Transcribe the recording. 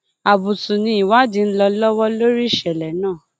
àbùtù ni ìwádìí ń lọ lọwọ lórí ìṣẹlẹ náà